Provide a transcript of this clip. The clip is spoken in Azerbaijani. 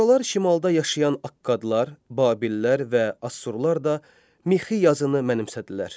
Sonralar şimalda yaşayan Akkadlar, Babillər və Assurlar da mixi yazını mənimsədilər.